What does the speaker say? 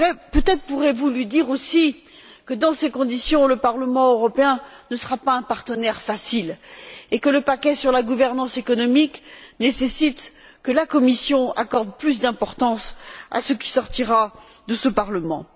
Peut être pourrez vous lui dire aussi que, dans ces conditions, le Parlement européen ne sera pas un partenaire facile et que le paquet sur la gouvernance économique nécessite que la Commission accorde plus d'importance à ce qui sortira de ce Parlement.